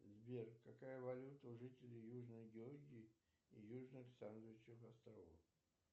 сбер какая валюта у жителей южной георгии и южных сандвичевых островов